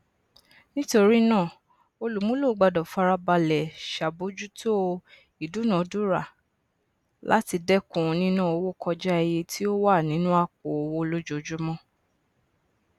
nítorí náà olùmúlò gbọdọ farabalẹ ṣàbójútó ìdúnadúrà láti dẹkùn nínà owó kọjá iye tí ó wà nínú àpò owó lójoojúmọ